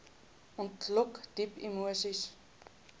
ontlok diep emoseis